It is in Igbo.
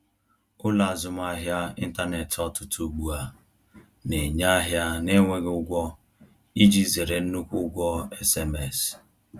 Ụlọ azụmahịa ịntanetị ọtụtụ ugbu a na-enye ahịa na-enweghị ụgwọ iji zere nnukwu ụgwọ SMS